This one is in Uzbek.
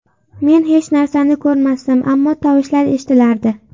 Men hech narsani ko‘rmasdim, ammo tovushlar eshitilardi.